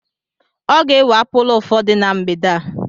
Ọ ga-ewe apulu ụfọdụ na mgbede a.